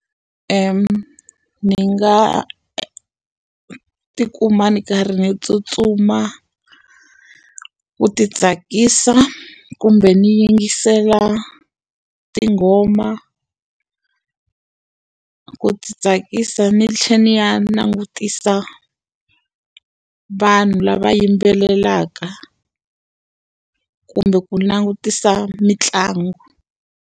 Ndzi nga ti kuma ndzi karhi ni tsutsuma, ku ti tsakisa kumbe ndzi yingisela tinghoma ku tsakisa ndzi tlhela ndzi ya langutisa vanhu lava yimbelelaka. Kumbe ku langutisa mitlangu.